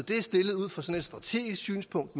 er stillet ud fra sådan et strategisk synspunkt